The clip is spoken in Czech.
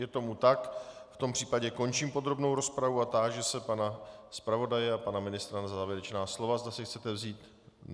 Je tomu tak, v tom případě končím podrobnou rozpravu a táži se pana zpravodaje a pana ministra na závěrečná slova, zda si chcete vzít.